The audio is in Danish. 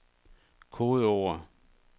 kodeord